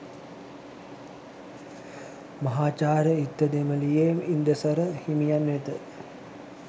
මහාචාර්ය ඉත්තදෙමළියේ ඉන්දසර හිමියන් වෙත